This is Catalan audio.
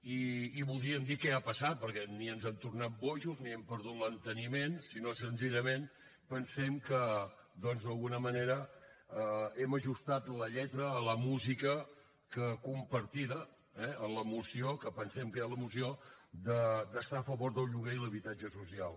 i voldríem dir què ha passat perquè ni ens hem tornat bojos ni hem perdut l’enteniment sinó que senzillament pensem que doncs d’alguna manera hem ajustat la lletra a la música compartida eh que pensem que hi ha a la moció d’estar a favor del lloguer i l’habitatge social